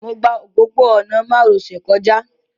Mo gba òpópó-ọ̀nà márosẹ̀ kọjá